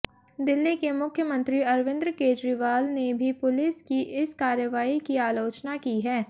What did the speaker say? दिल्ली के मुख्यमंत्री अरविंद केजरीवाल ने भी पुलिस की इस कार्रवाई की आलोचना की है